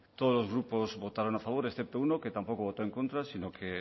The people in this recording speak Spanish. todos los grupos votaron a favor excepto uno que tampoco votó en contra sino que